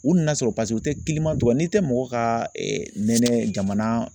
U nana sɔrɔ paseke u tɛ cogo dɔn n'i tɛ mɔgɔw ka nɛnɛ jamana